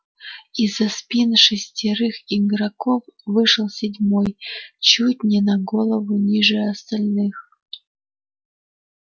из-за спин шестерых игроков вышел седьмой чуть не на голову ниже остальных